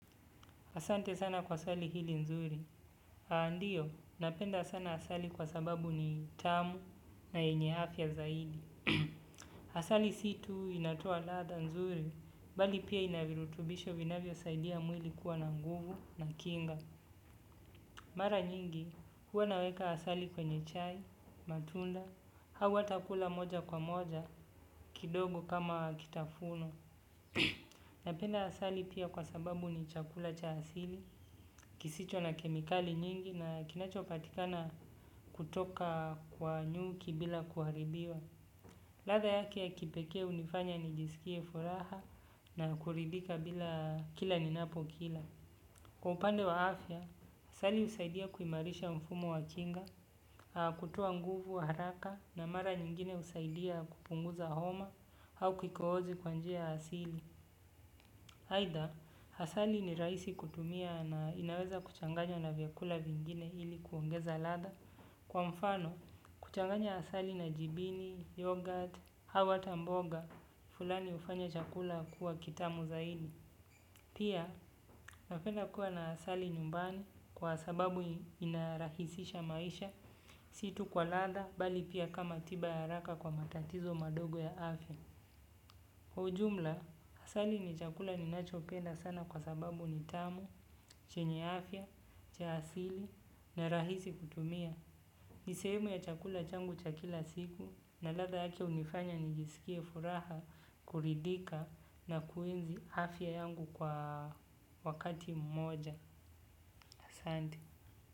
Asante sana kwa swali hili nzuri. Haa ndio, napenda sana asali kwa sababu ni tamu na yenye afya zaidi. Asali situ inatoa lada nzuri, bali pia inavirutubisho vinavyo saidia mwili kuwa na nguvu na kinga. Mara nyingi, huwa naweka asali kwenye chai, matunda, hau ata kula moja kwa moja, kidogo kama wakitafuno. Na penda asali pia kwa sababu ni chakula cha asili, kisicho na kemikali nyingi na kinachopatikana kutoka kwa nyuki bila kuharibiwa. Latha yake ya kipeke unifanya ni jisikie furaha na kuridika bila kila ninapo kila. Kwa upande wa afya, asali usaidia kuimarisha mfumo wa kinga, kutoa nguvu wa haraka na mara nyingine usaidia kupunguza homa au kikohozi kwa njia asili. Haidha, hasali ni raisi kutumia na inaweza kuchanganya na vyakula vingine ili kuongeza ladha. Kwa mfano, kuchanganya hasali na jibini, yoghurt, hau ata mboga, fulani ufanya chakula kuwa kitamu za ini. Pia, napenda kuwa na asali nyumbani kwa sababu inarahisisha maisha, situ kwa ladha, bali pia kama tiba ya haraka kwa matatizo madogo ya afya. Kwa ujumla, asali ni chakula ninachopenda sana kwa sababu nitamu, chenye afya, cha asili na rahisi kutumia. Ni sehemu ya chakula changu cha kila siku na latha yake unifanya nigisikie furaha kuridhika na kuenzi afya yangu kwa wakati mmoja.